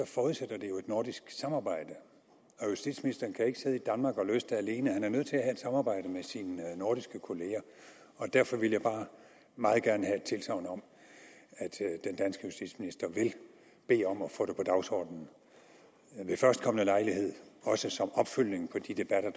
forudsætter det jo et nordisk samarbejde justitsministeren kan ikke sidde i danmark og løse det alene han er nødt til at samarbejde med sine nordiske kollegaer derfor ville jeg bare meget gerne have et tilsagn om at justitsminister vil bede om at få det på dagsordenen ved førstkommende lejlighed også som opfølgning på de debatter